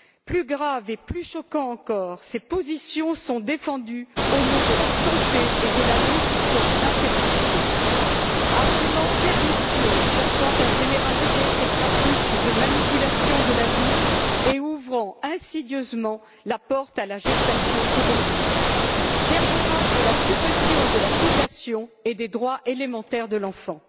Plus grave et plus choquant encore ces positions sont défendues au nom de la santé et de la lutte contre l'infertilité, argument pernicieux cherchant à généraliser ces pratiques de manipulation de la vie et ouvrant insidieusement la porte à la gestation pour le compte d'autrui, dernier acte de la suppression de la filiation et des droits élémentaires de l'enfant.